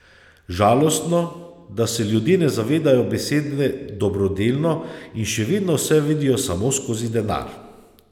Žalostno, da se ljudje ne zavedajo besede dobrodelno in še vedno vse vidijo samo skozi denar.